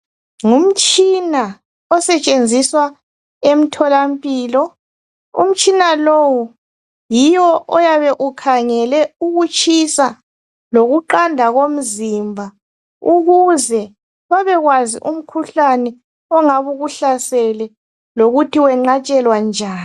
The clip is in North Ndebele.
Ngumtshina osetshenziswa emtholampilo. Umtshina lowu, yiwo oyabe ukhangele ukutshisa lokuqanda komzimba ukuze babekwazi umkhuhlane ongabe ukuhlasele lokuthi weqatshwalwa njani.